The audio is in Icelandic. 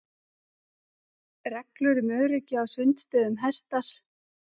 Reglur um öryggi á sundstöðum hertar